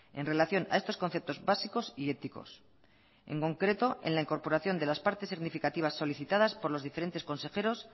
en relación a estos conceptos básicos y éticos en concreto en la incorporación de las partes significativas solicitadas por los diferentes consejeros